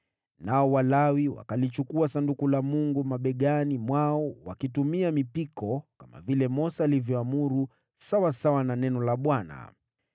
Nao Walawi wakalichukua Sanduku la Mungu mabegani mwao wakitumia mipiko, kama vile Mose alivyoamuru sawasawa na neno la Bwana .